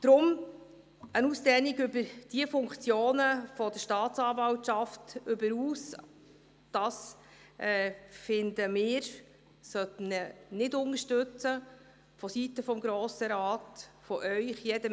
Deshalb: Eine Ausdehnung über die Funktionen der Staatsanwaltschaft hinaus, das sollten Sie vonseiten des Grossen Rates unserer Meinung nach nicht unterstützen.